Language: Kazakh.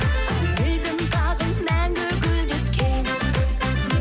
көңілдің бағын мәңгі гүлдеткен